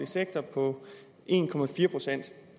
sektor på en procent